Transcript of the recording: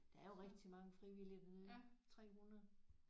Der er jo rigtig mange frivillige dernede 300